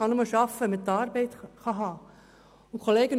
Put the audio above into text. Man kann nur arbeiten, wenn man eine Arbeit haben kann.